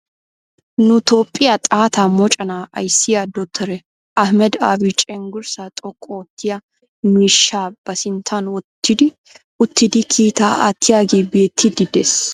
Nu toophphiya xaatta moconaa ayissiya dotoriya ahmeda abi cenggurssaa xoqqu oottiya miishshaa ba sinttan wottidi uttidi kiitaa attiyage beettiiddi des.